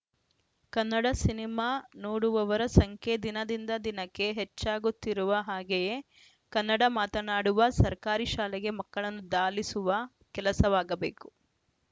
Kannada cinema ನೋಡುವವರ ಸಂಖ್ಯೆ ದಿನದಿಂದ ದಿನಕ್ಕೆ ಹೆಚ್ಚಾಗುತ್ತಿರುವ ಹಾಗೆಯೇ ಕನ್ನಡ ಮಾತನಾಡುವ ಸರ್ಕಾರಿ ಶಾಲೆಗೆ ಮಕ್ಕಳನ್ನು ದಾಲಿಸುವ ಕೆಲಸವಾಗಬೇಕು